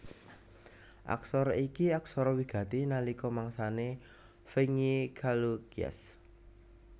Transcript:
Aksara iki aksara wigati nalika mangsané Vengi Chalukyas